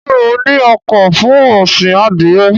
Ṣé ó ní oko fún ọ̀sìn Adìẹ?